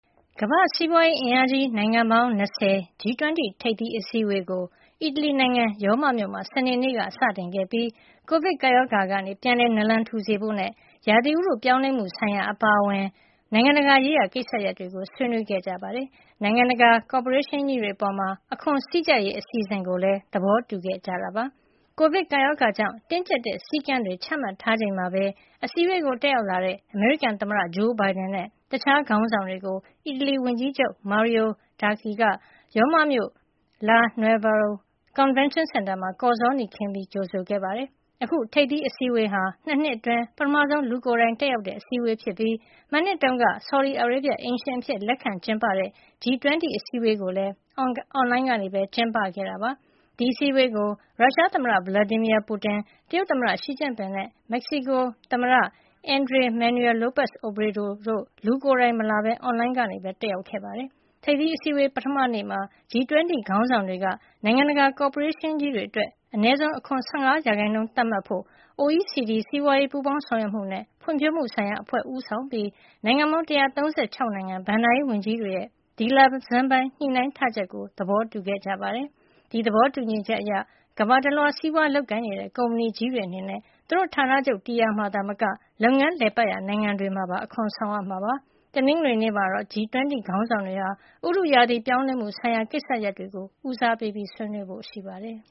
ကမ္ဘာ့စီးပွားရေးအင်အားကြီး နိုင်ငံပေါင်း ၂၀ (G-20) ထိပ်သီးအစည်းအဝေးကို အီတလီနိုင်ငံ ရောမမြို့မှာ စနေနေ့က စတင်ခဲ့ပြီး ကိုဗစ်ကပ်ရောဂါကနေ ပြန်လည်နာလံထူစေဖို့နဲ့ ဥတုရာသီ ပြောင်းလဲမှုဆိုင်ရာ အပါအဝင် နိုင်ငံတကာရေးရာ ကိစ္စတွေကို ဆွေးနွေးခဲ့ကြပြီး နိုင်ငံတကာ ကော်ပိုရေးရှင်းကြီးတွေအပေါ် အခွန်စည်းကျပ်ရေး အစီအစဉ်ကိုလည်း သဘောတူခဲ့ကြပါတယ်။ ကိုဗစ်ကပ်ရောဂါကြောင့် တင်းကျပ်တဲ့ စည်းကမ်းတွေ ချမှတ်ထားချိန်မှာပဲ အစည်းအဝေး တက်ရောက်လာတဲ့ အမေရိကန်သမ္မတ Joe Biden နဲ့ တခြားခေါင်းဆောင်တွေကို အီတလီဝန်ကြီးချုပ် Mario Draghi က ရောမမြို့ La Nuvola ကွန်ဗင်းရှင်းစင်တာမှာ ကော်ဇောနီခင်း ကြိုဆိုခဲ့ပါတယ်။ အခုထိပ်သီးအစည်းအဝေးဟာ ၂ နှစ်အတွင်း ပထမဆုံး လူကိုယ်တိုင် တက်ရောက်တဲ့ အစည်းအဝေးဖြစ်ပြီး မနှစ်တုန်းက ဆော်ဒီအာရေဗျ အိမ်ရှင်အဖြစ် လက်ခံကျင်းပတဲ့ G-20 အစည်းအဝေးကိုလည်း အွန်လိုင်းကနေ ကျင်းပခဲ့တာပါ။ ဒီအစည်းအဝေးကို ရုရှားသမ္မတ Vladimir Putin၊ တရုတ်သမ္မတ Xi Jinping နဲ့ မက္ကဆီကိုသမ္မတ Andrés Manuel López Obrador တို့ လူကိုယ်တိုင်မလာဘဲ အွန်လိုင်းကနေသာ တက်ရောက်ပါတယ်။ ထိပ်သီးအစည်းအဝေး ပထမနေ့မှာ G-20 ခေါင်းဆောင်တွေက နိုင်ငံတကာ ကော်ပိုရေးရှင်းကြီးတွေအတွက် အနည်းဆုံး အခွန် ၁၅ ရာခိုင်နှုန်း သတ်မှတ်ဖို့ OECD စီးပွားရေး ပူးပေါင်းဆောင်ရွက်မှုနဲ့ ဖွံ့ဖြိုးမှုဆိုင်ရာအဖွဲ့ ဦးဆောင်ပြီး နိုင်ငံပေါင်း ၁၃၆ နိုင်ငံ ဘဏ္ဍာရေးဝန်ကြီးတွေရဲ့ ဒီလဆန်းပိုင်း ညှိနှိုင်းထားချက်ကို သဘောတူခဲ့ကြပါတယ်။ ဒီသဘောတူညီချက်အရ ကမ္ဘာတလွှား စီးပွားလုပ်ကိုင်နေတဲ့ ကုမ္ပဏီကြီးတွေ အနေနဲ့ သူတို့ရဲ့ ဌာနချုပ်တည်ရှိရာ နေရာမှာသာမက လုပ်ငန်းလည်ပတ်ရာ နိုင်ငံတွေမှာပါ အခွန်ဆောင်ရမှာ ဖြစ်ပါတယ်။ တနင်္ဂနွေနေ့မှာတော့ G-20 ခေါင်းဆောင်တွေဟာ ဥတုရာသီ ပြောင်းလဲမှုဆိုင်ရာ ကိစ္စရပ်တွေကို ဦးစားပေးဆွေးနွေးဖို့ ရှိပါတယ်